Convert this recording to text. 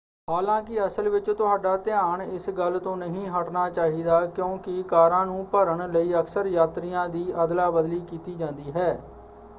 ਹਾਲਾਂਕਿ ਅਸਲ ਵਿੱਚ ਤੁਹਾਡਾ ਧਿਆਨ ਇਸ ਗੱਲ ਤੋਂ ਨਹੀਂ ਹਟਣਾ ਚਾਹੀਦਾ ਕਿਉਂਕਿ ਕਾਰਾਂ ਨੂੰ ਭਰਨ ਲਈ ਅਕਸਰ ਯਾਤਰੀਆਂ ਦੀ ਅਦਲਾ ਬਦਲੀ ਕੀਤੀ ਜਾਂਦੀ ਹੈ।